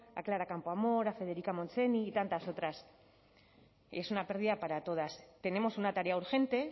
a clara campoamor a federica montseny y tantas otras es una pérdida para todas tenemos una tarea urgente